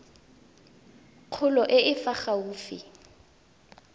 kgolo e e fa gaufi